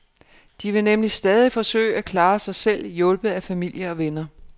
De vil nemlig stadig forsøge at klare sig selv, hjulpet af familie og venner.